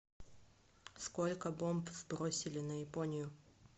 сколько бомб сбросили на японию